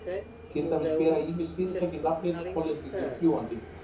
Til dæmis bera ýmis fyrirtæki nafnið Hollendingurinn fljúgandi.